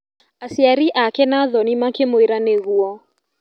Aciari ake na thoni makĩmwĩra nĩguo.